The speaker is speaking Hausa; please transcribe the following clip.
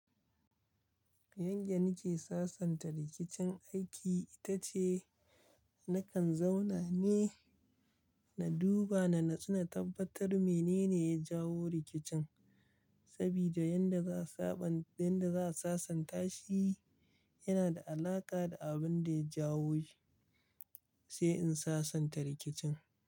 Yanda nake sasanta rikicin aiki ita ce na kan zauna ne, na duba na natsu tabbatar mene ne ya jawo rikicin. Sabida yanda za saba, yanda za sasanta shi yana da alaƙa da abin da ya jawo shi, sai in sasanta rikicin.